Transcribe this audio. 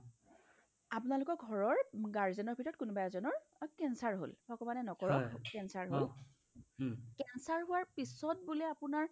আপোনালোকৰ ঘৰৰ guardian ৰ ভিতৰত কোনোবা এজনৰ অ cancer হ'ল ভগৱানে নকৰক cancer হ'ওক cancer হোৱাৰ পিছত বোলে আপোনাৰ